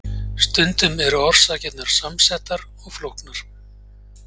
stundum eru orsakirnar samsettar og flóknar